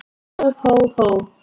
Hó, hó, hó!